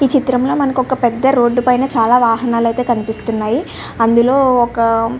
ఈ చిత్రం లో పెద్ద రోడ్ పైన చాల వాహనాలు ఐతే కనిపిస్తున్నాయి.